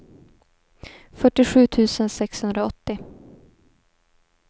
fyrtiosju tusen sexhundraåttio